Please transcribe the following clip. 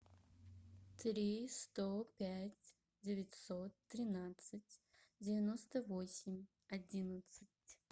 три сто пять девятьсот тринадцать девяносто восемь одиннадцать